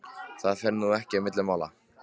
Það fer nú ekki á milli mála